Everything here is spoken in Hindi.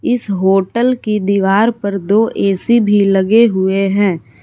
इस होटल की दीवार पर दो ए_सी भी लगे हुए हैं।